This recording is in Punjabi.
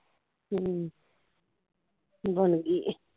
ਹਮ ਬਣਗੀ ਏ